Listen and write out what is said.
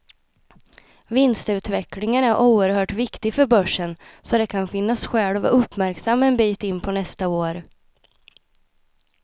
Vinstutvecklingen är oerhört viktig för börsen, så det kan finnas skäl att vara uppmärksam en bit in på nästa år.